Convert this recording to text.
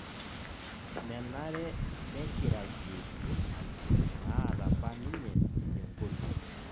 menare nekiragie rusak naata apa ninye te nkoriong'